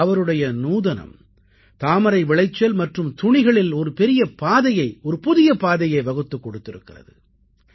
இன்று அவருடைய நூதனம் தாமரை விளைச்சல் மற்றும் துணிகளில் ஒரு புதிய பாதையை வகுத்துக் கொடுத்திருக்கிறது